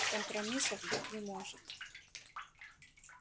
компромиссов быть не может